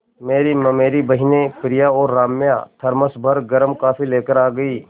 मेरी ममेरी बहिनें प्रिया और राम्या थरमस भर गर्म कॉफ़ी लेकर आ गईं